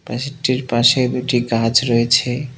টির পাশে দুটি গাছ রয়েছে।